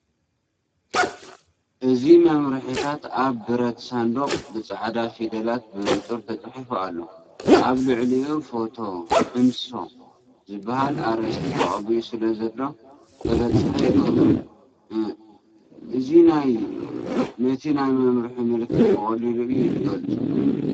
እዚ መምርሒታት ኣብቲ ብረት ሳንዱቕ ብጻዕዳ ፊደላት ብንጹር ተጻሒፉ ኣሎ፤ ኣብ ልዕሊኡ ‘ፎቶ ሕማሶ’ ዝብል ኣርእስቲ ተቐቢኡ ስለዘሎ፡ ተበጻሒ ይገብሮ። እ እዚ ነቲ ናይ መምርሒ ምልክት ብቐሊሉ እዩ ዚገልጾ።